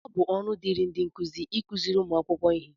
ọ bụ ọrụ dịịrị ndị nkuzi ịkụziri ụmụ akwụkwọ ihe